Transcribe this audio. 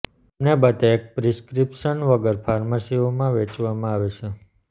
તેમને બધા એક પ્રિસ્ક્રિપ્શન વગર ફાર્મસીઓ માં વેચવામાં આવે છે